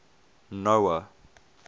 noah